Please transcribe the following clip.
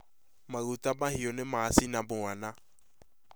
Maguta mahiu nĩ mashina mwana